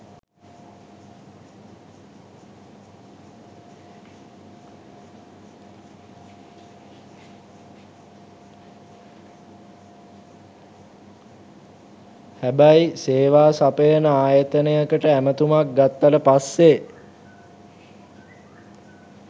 හැබැයි සේවා සපයන ආයතනයකට ඇමතුමක් ගත්තට පස්සේ